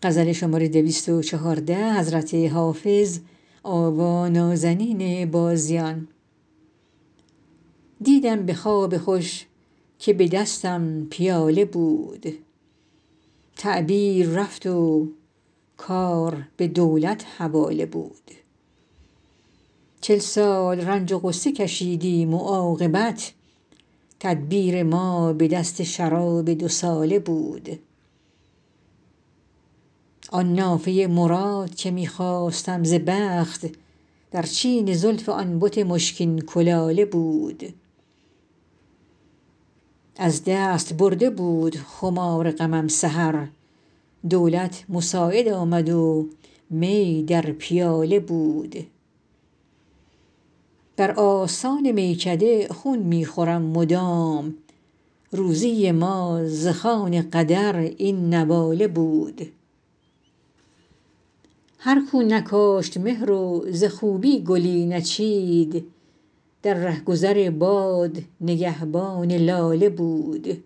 دیدم به خواب خوش که به دستم پیاله بود تعبیر رفت و کار به دولت حواله بود چل سال رنج و غصه کشیدیم و عاقبت تدبیر ما به دست شراب دوساله بود آن نافه مراد که می خواستم ز بخت در چین زلف آن بت مشکین کلاله بود از دست برده بود خمار غمم سحر دولت مساعد آمد و می در پیاله بود بر آستان میکده خون می خورم مدام روزی ما ز خوان قدر این نواله بود هر کو نکاشت مهر و ز خوبی گلی نچید در رهگذار باد نگهبان لاله بود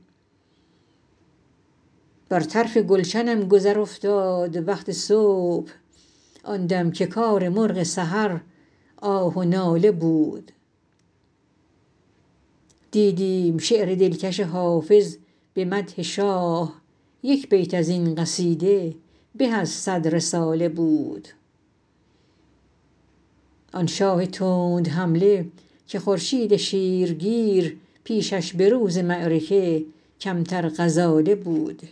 بر طرف گلشنم گذر افتاد وقت صبح آن دم که کار مرغ سحر آه و ناله بود دیدیم شعر دلکش حافظ به مدح شاه یک بیت از این قصیده به از صد رساله بود آن شاه تندحمله که خورشید شیرگیر پیشش به روز معرکه کمتر غزاله بود